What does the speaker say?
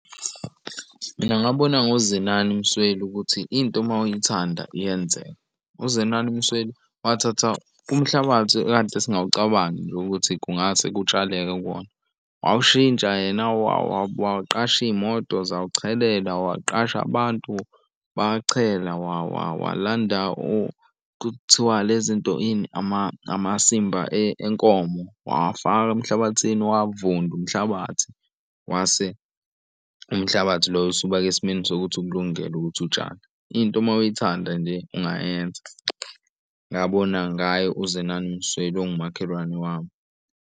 Mina ngabona ngoZenani Msweli ukuthi into uma uyithanda iyenzeka. UZenani Msweli wathatha umhlabathi ekade singawucabangi nje ukuthi kungase kutshaleke kuwona wawushintsha yena waqasha iy'moto zawuchelela waqasha abantu bachela, walanda kuthiwa le zinto ini amasimba enkomo wawafaka emhlabathini wavunda umhlabathi wase umhlabathi loyo usuba esimeni sokuthi ukulungele ukuthi utshale. Into uma uyithanda nje ungayenza ngabona ngaye uZenani Msweli ongumakhelwane wami.